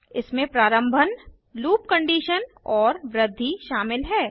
इसमें प्रारम्भन loop condition और वृद्धि शामिल है